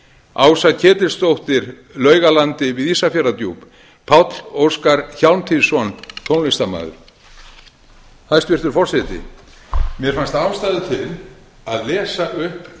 ása ketilsdóttir laugalandi við ísafjarðardjúp páll óskar hjálmtýsson tónlistarmaður hæstvirtur forseti mér fannst ástæða til að lesa upp